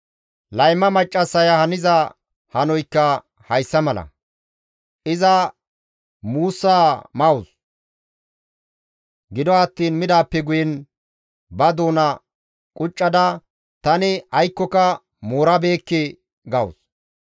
«Layma maccassaya haniza hanoykka hessa mala. Iza muussa mawus; gido attiin midaappe guyen, ba doona quccada, ‹Tani aykkoka moorabeekke› gawus.